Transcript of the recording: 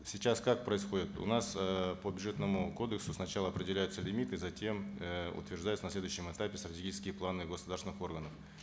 сейчас как происходит у нас э по бюджетному кодексу сначала определяются лимиты затем э утверждаются на следующем этапе стратегические планы государственных органов